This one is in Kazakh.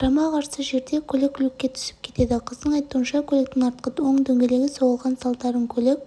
қарама-қарсы жерде көлік люкке түсіп кетеді қыздың айтуынша көліктің артқы оң дөңгелегі соғылған салдарын көлік